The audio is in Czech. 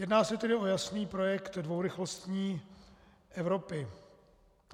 Jedná se tedy o jasný projekt dvourychlostní Evropy.